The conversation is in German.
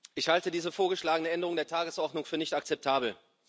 Ich halte diese vorgeschlagene Änderung der Tagesordnung für nicht akzeptabel.